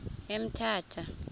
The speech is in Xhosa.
emthatha